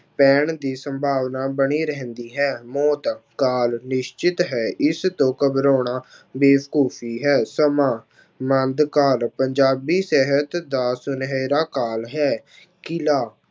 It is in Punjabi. ਪੈਣ ਦੀ ਸੰਭਾਵਨਾ ਬਣੀ ਰਹਿੰਦੀ ਹੈ, ਮੌਤ ਕਾਲ ਨਿਸ਼ਚਿਤ ਹੈ ਇਸ ਤੋਂ ਘਬਰਾਉਣਾ ਬੇਵਕੂਫ਼ੀ ਹੈ ਸਮਾਂ ਮੱਧਕਾਲ ਪੰਜਾਬੀ ਸਾਹਿਤ ਦਾ ਸੁਨਿਹਰਾ ਕਾਲ ਹੈ, ਕਿਲ੍ਹਾ